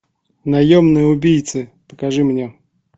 наемные убийцы покажи мне